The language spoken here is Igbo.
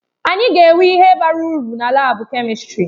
Anyị ga-enwe ihe bara uru na laabu kèmistrị.